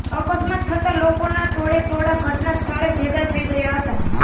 અકસ્માત થતા લોકોના ટોળેટોળા ઘટના સ્થળે ભેગા થઈ ગયા હતા